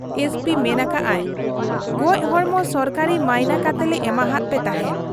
SP ᱢᱮᱱ ᱟᱠᱟᱜ ᱟᱭ, ᱜᱚᱡᱦᱚᱲᱢᱚ ᱥᱚᱨᱠᱟᱨᱤ ᱢᱟᱭᱤᱱᱟ ᱠᱟᱛᱮᱞᱮ ᱮᱢᱟᱦᱟᱫ ᱯᱮ ᱛᱟᱦᱮᱸᱫ ᱾